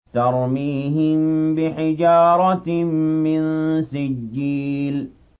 تَرْمِيهِم بِحِجَارَةٍ مِّن سِجِّيلٍ